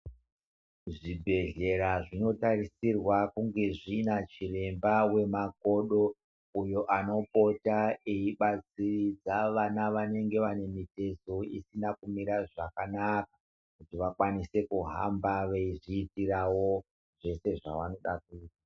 Zvibhedhlera zvinotarisirwa kunge zvina chiremba wemakodo uyo anopota eibatsira vana vanenge vanenge vane mitezo isina kumira zvakanaka kuti vakwanise kuhamba veizviitirawo zvese zvavanoda kuita.